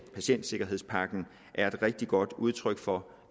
patientsikkerhedspakken er et rigtig godt udtryk for